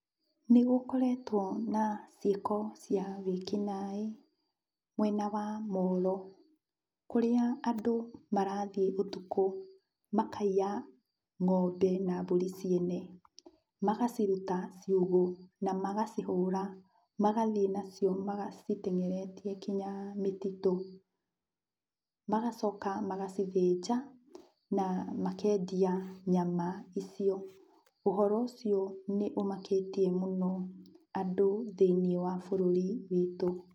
Nĩgũkoretwo na ciĩko cia wĩkinaĩ mwena wa Molo, kũrĩa andũ marathiĩ ũtukũ makaiya ng'ombe na mbũri ciene. Magaciruta ciugũ na magacihũra, magathiĩ nacio macitengeretie kinya mĩtitũ. Magacoka magacithĩnja na makendia nyama icio. Ũhoro ũcio nĩ ũmakĩtie mũno andũ thĩiniĩ wa bũrũri witũ.